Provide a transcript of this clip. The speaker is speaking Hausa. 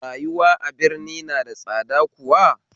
Rayuwa a birni na da tsada kuwa?